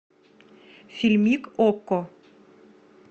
фильмик окко